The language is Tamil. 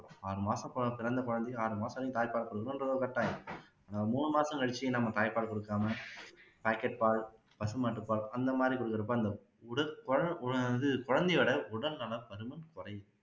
ஆறு மாச குழந்தை பிறந்த குழந்தைக்கு ஆறு மாச வரையும் தாய்ப்பால் கொடுக்கணுன்றது ஒரு கட்டாயம் மூணு மாசம் கழிச்சு தாய்ப்பால கொடுக்காம packet பால் பசுமாட்டுப்பால் அந்த மாதிரி கொடுக்குறப்போ அந்த உடு குழந்த வந்து குழந்தையோட உடல்நலம் அதுவும் குரையுது